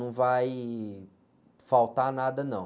Não vai faltar nada, não.